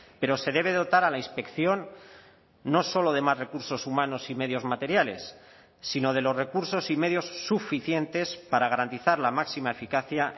pero se debe dotar a la inspección no solo de más recursos humanos y medios materiales sino de los recursos y medios suficientes para garantizar la máxima eficacia